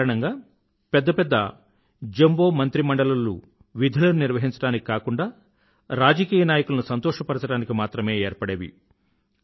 ఈ కారణంగా పెద్ద పెద్ద జంబో మంత్రిమండలులు విధులను నిర్వహించడానికి కాకుండా రాజకీయ నాయకులను సంతోష పరచడానికి మాత్రమే ఏర్పడేవి